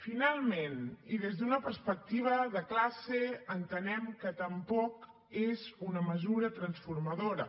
finalment i des d’una perspectiva de classe entenem que tampoc és una mesura transformadora